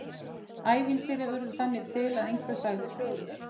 Ævintýri urðu þannig til að einhver sagði sögu.